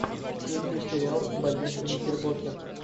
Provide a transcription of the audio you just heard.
включи сериал больница никербокер